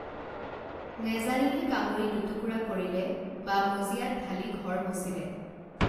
নেজানিহে কামুৰি দুটুকুৰা কৰিলে বা মজিয়াত ঢালি ঘৰ মচিলে